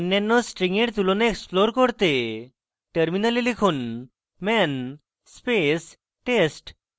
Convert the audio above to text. অন্যান্য string এর তুলনা explore করতে terminal লিখুন man space test